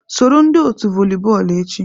Soro ndị otu voli bọọlụ echi.